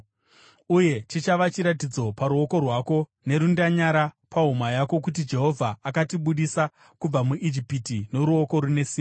Uye chichava chiratidzo paruoko rwako nerundanyara pahuma yako kuti Jehovha akatibudisa kubva muIjipiti noruoko rune simba.”